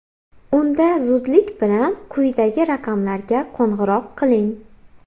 Unda zudlik bilan quyidagi raqamlarga qo‘ng‘iroq qiling.